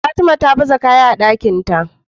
Fatima ta baza kaya a Ɗakinta